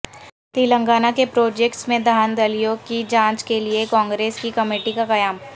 تلنگانہ کے پراجکٹس میں دھاندلیوں کی جانچ کیلئے کانگریس کی کمیٹی کا قیام